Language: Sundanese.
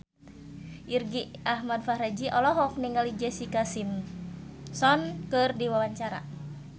Irgi Ahmad Fahrezi olohok ningali Jessica Simpson keur diwawancara